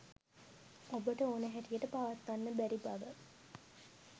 ඔබට ඕන හැටියට පවත්වන්න බැරි බව.